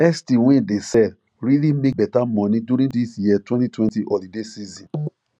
esty wey dey sell really make better money during this year twenty twenty holiday season